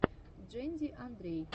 джэнди андрей